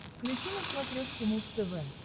включи на смотрешке муз тв